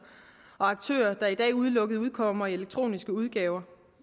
og aktører i dag udelukkende udkommer i elektroniske udgaver